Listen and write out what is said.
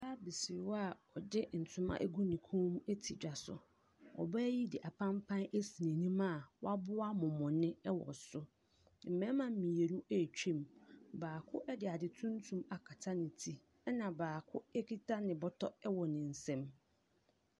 Ɔbaa bi si hɔ a ɔde ntoma agu ne kɔn te dwa so. Ɔbaa yi de apampan asi n’anim a waboa mɔmɔne wɔ so. Mmarima mmienu ɛretwa mu, baako de ade tuntum akata ne ti. Na baako kita ne bɔtɔ wɔ ne nsa mu.